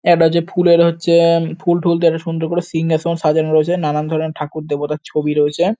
এটা হচ্ছে ফুলের হচ্ছে অ্যা ফুলটুল দিয়ে সুন্দর করে সিংহাসন সাজানো রয়েছে নানান ধরণের ঠাকুর দেবতার ছবি রয়েছে ।